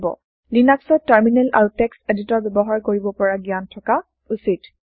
লিনাক্সত টাৰমিনেল আৰু text editor ব্যৱহাৰ কৰিব পৰা জ্ঞান থকা উচিত